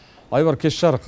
айбар кеш жарық